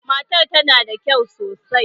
Matar tana da kyau sosai.